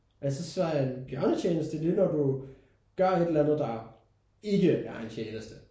Altså så en bjørnetjeneste det er når du gør et eller andet der ikke er en tjeneste